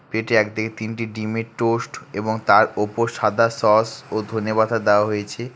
পেটের এক দিকে তিনটি ডিমের টোস্ট এবং তার ওপর সাদা সস ও ধনেপাতা দেওয়া হয়েছে।